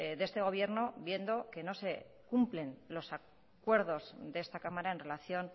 de este gobierno viendo que no se cumplen los acuerdos de esta cámara en relación